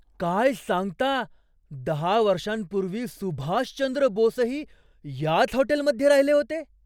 काय सांगता! दहा वर्षांपूर्वी सुभाषचंद्र बोसही याच हॉटेलमध्ये राहिले होते?